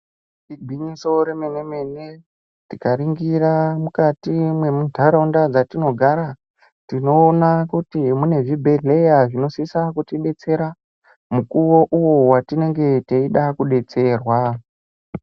Igwinyiso remenemene mene tikaringira mukati memunharaunda matinogara tinoona kuti munezvibhehleya zvinosisa kutibetsera mukuwo uyo watinenge teisisa kudetserwa